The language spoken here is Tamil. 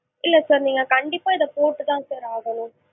இல்ல sir நீங்க கண்டிப்பா இத போட்டு தான் sir ஆகணும்.